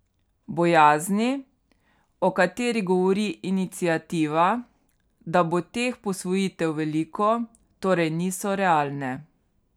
Bojazni, o kateri govori iniciativa, da bo teh posvojitev veliko, torej niso realne.